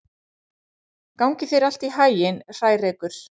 Gangi þér allt í haginn, Hrærekur.